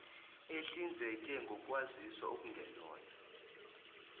ehlinzeke ngokwaziswa okungelona